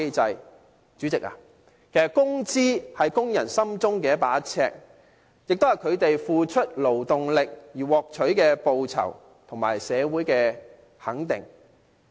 代理主席，其實工資是工人心中的一把尺，也是他們付出勞動力而獲取的報酬和社會的肯定。